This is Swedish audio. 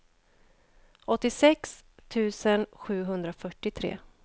åttiosex tusen sjuhundrafyrtiotre